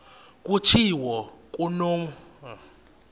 kutshiwo kumotu osuke